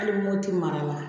Hali mopti mara la